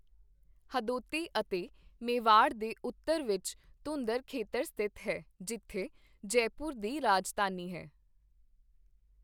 ਹਦੋਤੀ ਅਤੇ ਮੇਵਾੜ ਦੇ ਉੱਤਰ ਵਿੱਚ ਧੁੰਧਰ ਖੇਤਰ ਸਥਿਤ ਹੈ, ਜਿੱਥੇ ਜੈਪੁਰ ਦੀ ਰਾਜਧਾਨੀ ਹੈ।